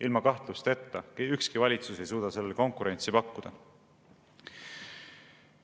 Ilma kahtlusteta, ükski valitsus ei suuda sellele konkurentsi pakkuda.